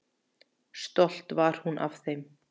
Stolt var hún af þeim.